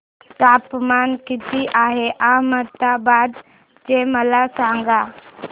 तापमान किती आहे अहमदाबाद चे मला सांगा